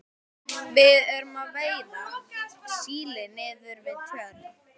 Við erum að veiða síli niður við Tjörn.